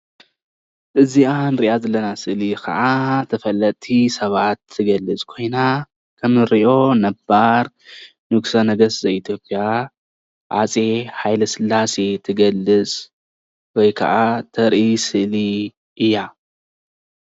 እዚኣ እንሪኣ ዘለና ስእሊ ካዓ ተፈለጥቲ ሰባት እትገልፅ ኮይና እንሪኦ ነባር ንጉሰ ነግስት ዘ-ኢትዮጵያ ሃፀይ ሃይለስላሴ ትገልፅ ወይ ካዓ ተርኢ ስእሊ እያ።